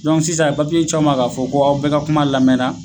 Dɔn sisan a ye papiye caw ma k'a fɔ k'aw bɛ ka kuma lamɛra